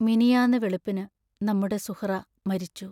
മിനിയാന്നു വെളുപ്പിനു നമ്മുടെ സുഹ്റാ മരിച്ചു.